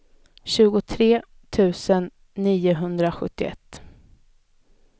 tjugotre tusen niohundrasjuttioett